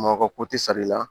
Makɔ ko ti sali la